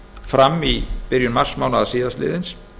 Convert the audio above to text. fram í byrjun marsmánaðar síðastliðins